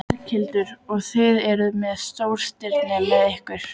Berghildur: Og þið eruð með stórstirni með ykkur?